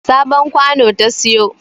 Sabon kwano ta siyo